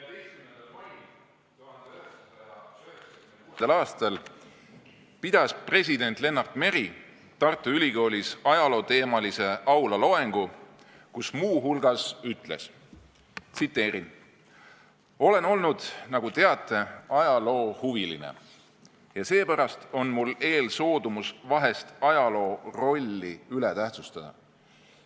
14. mail 1996. aastal pidas president Lennart Meri Tartu Ülikoolis ajalooteemalise aulaloengu, kus muu hulgas ütles: "Olen olnud, nagu teate, ajaloohuviline, ja seepärast on mul eelsoodumus vahest ajaloo rolli üle tähtsustada.